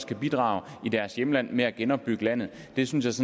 kan bidrage i deres hjemland med at genopbygge landet det synes